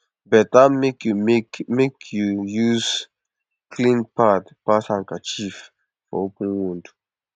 better make you make you use clean pad pass handkerchief for open wound